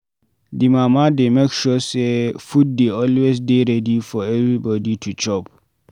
Di mama dey make sure sey food dey always dey ready for everybodi to chop